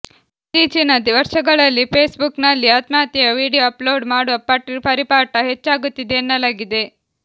ಇತ್ತೀಚಿನ ವರ್ಷಗಳಲ್ಲಿ Facebook ನಲ್ಲಿ ಆತ್ಮಹತ್ಯೆಯ ವೀಡಿಯೊ ಅಪ್ ಲೋಡ್ ಮಾಡುವ ಪರಿಪಾಠ ಹೆಚ್ಚಾಗುತ್ತಿದೆ ಎನ್ನಲಾಗಿದೆ